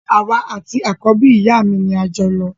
Àwa àti àkọ́bí ìyá mi ni ajọlọ